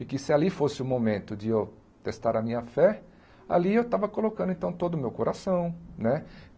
E que se ali fosse o momento de eu testar a minha fé, ali eu estava colocando, então, todo o meu coração, né?